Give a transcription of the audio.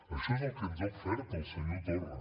això és el que ens ha ofert el senyor torra